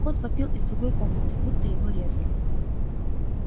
кот вопил из другой комнаты будто его резали